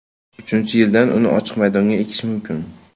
Uchinchi yildan uni ochiq maydonda ekish mumkin.